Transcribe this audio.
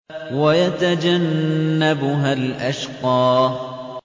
وَيَتَجَنَّبُهَا الْأَشْقَى